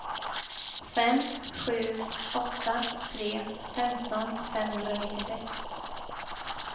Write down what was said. fem sju åtta tre femton femhundranittiosex